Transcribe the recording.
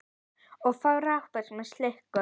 Og frábær sem slíkur.